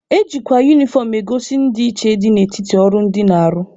Ejikwa unifọm egosi ndịiche dị n'etiti ọrụ ndị na-arụ.